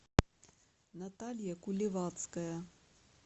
наталья куливацкая